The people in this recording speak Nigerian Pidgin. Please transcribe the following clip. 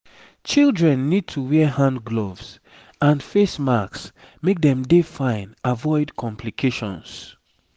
children need to wear hand gloves and face masks make dem dey fine avoid complications